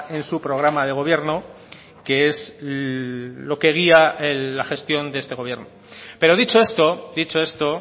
en su programa de gobierno que es lo que guía la gestión de este gobierno pero dicho esto dicho esto